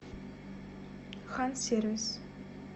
хансервис